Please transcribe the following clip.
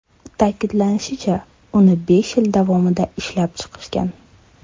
Ta’kidlanishicha, uni besh yil davomida ishlab chiqishgan.